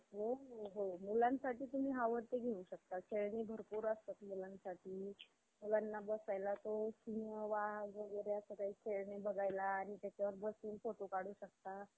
अं त्याच्यामध्ये मोठ्या प्रमाणात भांडवल तयार होतं. आणि ती company मोठी अं company मानली जाते. एक साधारण माणूस एक पूर्ण company कधीच उभी~ उभा नाही करू शकत मला असं वाटतं. जर त्याचे अं लोक किंवा त्याचे